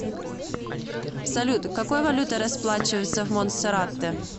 салют какой валютой расплачиваются в монтсеррате